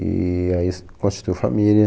E aí s, constituiu família.